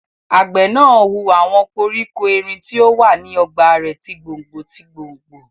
Àgbẹ̀ náà hu àwọn koríko erin tó wà ní ọgbà rẹ̀ ti gbòngbò tí gbòngbò